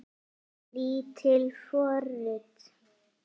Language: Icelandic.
Lítil forrit